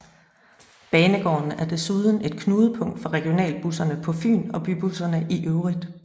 Banegården er desuden et knudepunkt for regionalbusserne på Fyn og bybusserne i øvrigt